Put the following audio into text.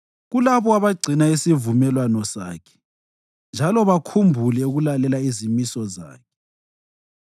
kulabo abagcina isivumelwano Sakhe njalo bakhumbule ukulalela izimiso zakhe.